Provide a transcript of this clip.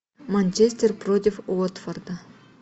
манчестер против уотфорда